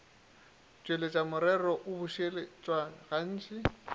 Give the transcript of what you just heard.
tšweletša morero o bušeletša gantši